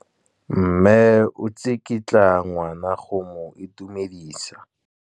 Mme o tsikitla ngwana go mo itumedisa.